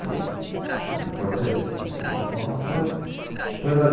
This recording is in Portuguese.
Eram importantes essas informações.